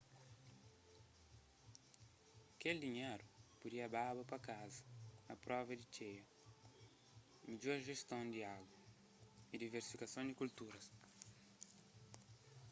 kel dinheru pudia baba pa kaza a prova di txeia midjor jeston di agu y diversifikason di kulturas